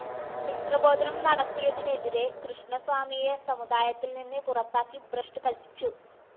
മിശ്രഭോജനം നടത്തിയതിനെതിരെ കൃഷ്ണസ്വാമിയെ സമുദായത്തില്‍നിന്ന് പുറത്താക്കി ഭ്രഷ്ട് കല്‍പ്പിച്ചു